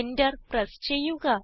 Enter press ചെയ്യുക